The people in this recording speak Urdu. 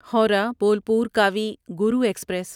ہورہ بولپور کاوی گرو ایکسپریس